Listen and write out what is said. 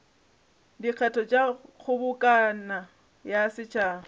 dikgetho tša kgobokano ya setšhaba